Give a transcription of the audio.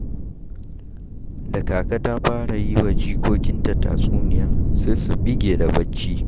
Da Kaka ta fara yiwa jikokinta tatsuniya sai su ɓige da bacci.